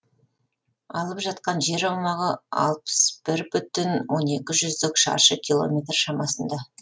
алып жатқан жер аумағы алпыс бір бүтін он екі жүздік шаршы километр шамасында